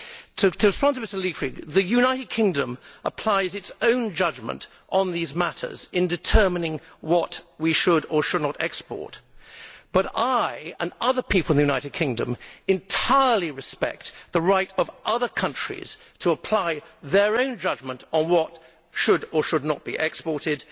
To respond to Mr Leichtfried, the United Kingdom applies its own judgement on these matters in determining what we should, or should not, export, but I and other people in the United Kingdom entirely respect the right of other countries to apply their own judgement on what should or should not be exported.